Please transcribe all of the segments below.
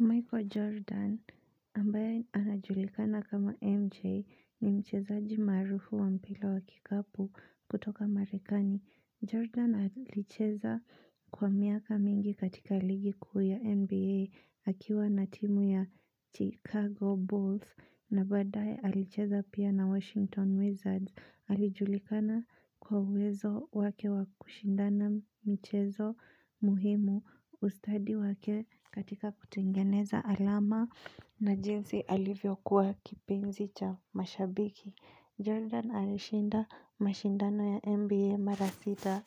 Michael Jordan ambaye anajulikana kama MJ ni mchezaji maarufu wa mpila wa kikapu kutoka marekani. Jordan alicheza kwa miaka mingi katika ligi kuu ya NBA akiwa na timu ya Chicago Bulls na badaye alicheza pia na Washington Wizards. Alijulikana kwa uwezo wake wakushindana michezo muhimu ustadi wake katika kutengeneza alama na jinsi alivyo kuwa kipenzi cha mashabiki. Jordan alishinda mashindano ya NBA mara sita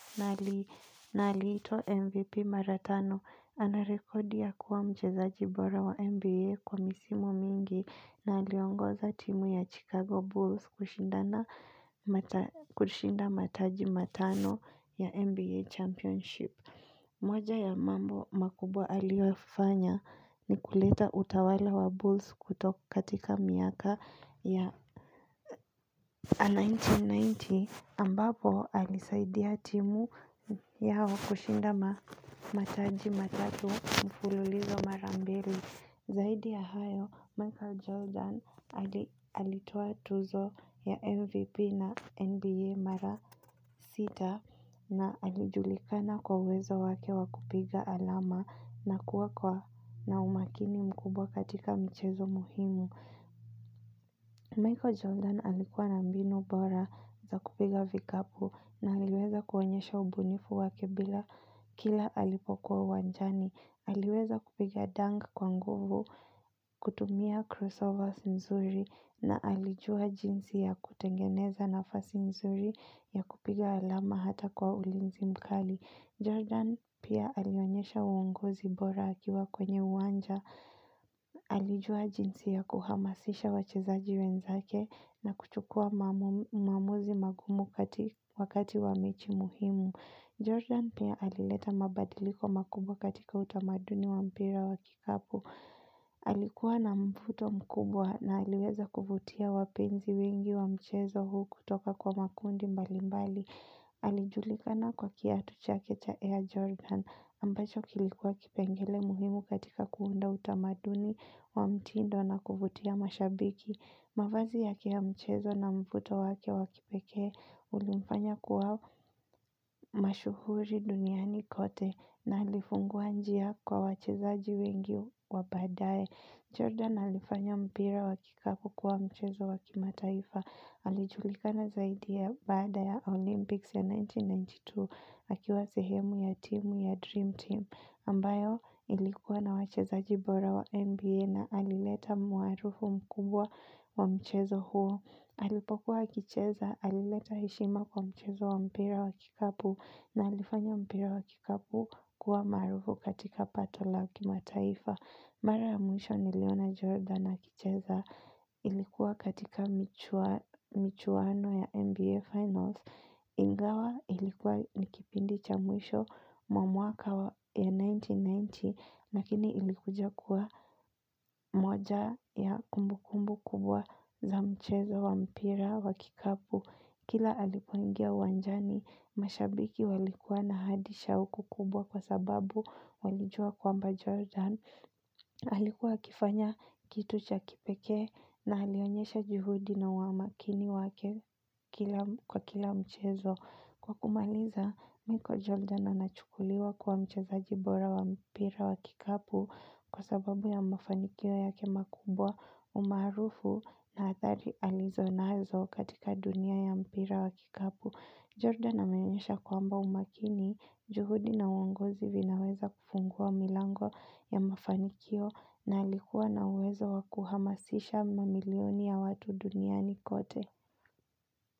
na alitwa MVP maratano ana rekodi ya kuwa mchezaji bora wa NBA kwa misimu mingi na aliongoza timu ya Chicago Bulls kushinda mataji matano ya NBA championship. Moja ya mambo makubwa aliofanya ni kuleta utawala wa Bulls katika miaka ya 1990 ambapo alisaidia timu yao kushinda mataji matatu mfululizo mara mbili. Zaidi ya hayo, Michael Jordan alitoa tuzo ya MVP na NBA mara sita na alijulikana kwa uwezo wake wa kupiga alama na kuwa kwa na umakini mkubwa katika michezo muhimu. Michael Jordan alikuwa na mbinu bora za kupiga vikapu na aliweza kuonyesha ubunifu wake bila kila alipokuwa uwanjani. Aliweza kupiga dang kwa nguvu, kutumia crossovers mzuri na alijua jinsi ya kutengeneza nafasi mzuri ya kupiga alama hata kwa ulinzi mkali. Jordan pia alionyesha uongozi bora akiwa kwenye uwanja, alijua jinsi ya kuhamasisha wachezaji wenzake na kuchukua maamuzi magumu wakati wa mechi muhimu. Jordan pia alileta mabadiliko makubwa katika utamaduni wa mpira wa kikapu. Alikuwa na mvuto mkubwa na aliweza kuvutia wapenzi wengi wa mchezo huu kutoka kwa makundi mbali mbali. Alijulikana kwa kiatu chake cha Air Jordan ambacho kilikuwa kipengele muhimu katika kuunda utamaduni wa mtindo na kuvutia mashabiki. Mavazi yake ya mchezo na mvuto wake wa kipekee ulimfanya kuwa mashuhuri duniani kote na alifungua njia kwa wachezaji wengi wa badae. Jordan alifanya mpira wa kikapu kuwa mchezo wa kimataifa, alijulikana zaidi ya baada ya Olympics ya 1992, akiwa sehemu ya timu ya Dream Team, ambayo ilikuwa na wachezaji bora wa NBA na alileta muarufu mkubwa wa mchezo huo. Alipokuwa akicheza, alileta heshima kwa mchezo wa mpira wa kikapu na alifanya mpira wa kikapu kuwa maarufu katika pato la kimataifa. Mara ya mwisho niliona Jordan akicheza ilikuwa katika michuano ya NBA Finals. Ingawa ilikuwa ni kipindi cha mwisho mwa mwaka wa ya 1990 lakini ilikuja kuwa moja ya kumbukumbu kubwa za mchezo wa mpira wa kikapu. Kila alipoingia uwanjani, mashabiki walikuwa na hadi shahuku kubwa kwa sababu walijua kwamba Jordan. Alikuwa akifanya kitu cha kipekee na alionyesha juhudi na uamakini wake kwa kila mchezo. Kwa kumaliza, miko Jordan anachukuliwa kuwa mchezaji bora wa mpira wa kikapu kwa sababu ya mafanikio yake makubwa umarufu na athari alizo nazo katika dunia ya mpira wa kikapu. Jordan ameonyesha kwamba umakini, juhudi na uongozi vinaweza kufungua milango ya mafanikio na alikuwa na uwezo wa kuhamasisha mamilioni ya watu duniani kote.